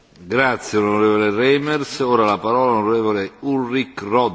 Herr Präsident, liebe Kommissarin, liebe Kolleginnen und Kollegen!